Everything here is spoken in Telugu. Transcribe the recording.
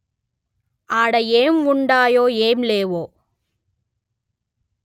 ఆడ ఏం ఉండాయో ఏం లేవో